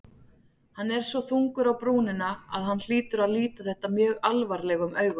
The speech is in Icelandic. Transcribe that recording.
Hann er svo þungur á brúnina að hann hlýtur að líta þetta mjög alvarlegum augum.